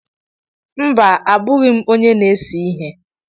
Mba, abụghị m onye na-ese ihe.